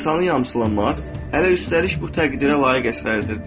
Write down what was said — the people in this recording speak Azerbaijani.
İnsanı yamsılamaq, hələ üstəlik bu təqdirə layiq əsərdir.